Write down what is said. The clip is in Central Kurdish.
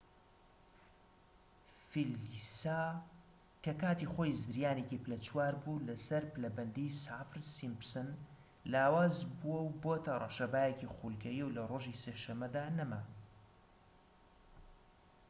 فیلیسا کە کاتی خۆی زریانێکی پلە چوار بوو لەسەر پلەبەندی سافر-سیمپسن لاواز بووە و بۆتە ڕەشەبایەکی خولگەیی و لە ڕۆژی سێ شەمەدا نەما